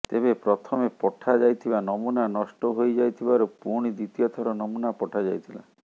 ତେବେ ପ୍ରଥମେ ପଠା ଯାଇଥିବା ନମୁନା ନଷ୍ଟ ହୋଇଯାଇଥିବାରୁ ପୁଣି ଦ୍ୱିତୀୟ ଥର ନମୁନା ପଠା ଯାଇଥିଲା